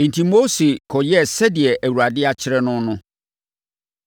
Enti, Mose kɔ kɔyɛɛ sɛdeɛ Awurade akyerɛ no no.